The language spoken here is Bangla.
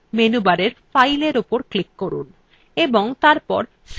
এই file save করার জন্য menu bar fileএর উপর click করুন